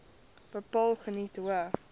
bepaal geniet hoë